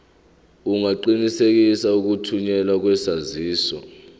ungaqinisekisa ukuthunyelwa kwesaziso